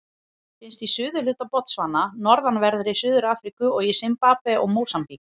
Finnst í suðurhluta Botsvana, norðanverðri Suður-Afríku og í Simbabve og Mósambík.